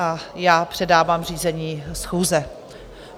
A já předávám řízení schůze.